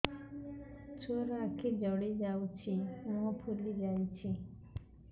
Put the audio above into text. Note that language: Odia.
ଛୁଆର ଆଖି ଜଡ଼ି ଯାଉଛି ମୁହଁ ଫୁଲି ଯାଇଛି